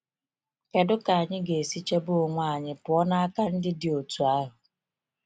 Kedu ka anyị ga-esi chebe onwe anyị pụọ n’aka ndị dị otú ahụ?